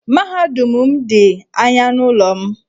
Mahadum m dị anya n'ụlọ m.